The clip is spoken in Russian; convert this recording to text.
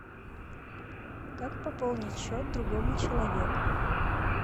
как пополнить счет другому человеку